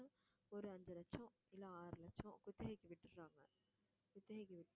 ஒரு அஞ்சு லட்சம் இல்லை ஆறு லட்சம் குத்தகைக்கு விட்டுறாங்க குத்தகைக்கு விட்டு